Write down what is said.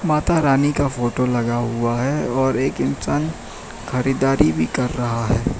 माता रानी का फोटो लगा हुआ है और एक इंसान खरीदारी भी कर रहा है।